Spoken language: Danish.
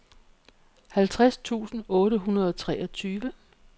halvtreds tusind otte hundrede og treogtyve